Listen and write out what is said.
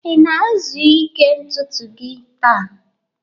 ị na-ezu ike ntutu gị taa?